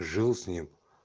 жил с ним